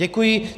Děkuji.